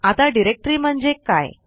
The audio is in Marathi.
आता डिरेक्टरी म्हणजे काय